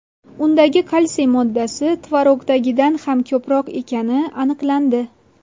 Undagi kalsiy moddasi tvorogdagidan ham ko‘proq ekani aniqlandi.